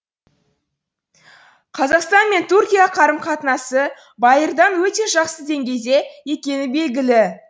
қазақстан мен түркия қарым қатынасы байырдан өте жақсы деңгейде екені белгілі